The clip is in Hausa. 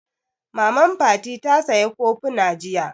Maman Fati ta saya kofuna jiya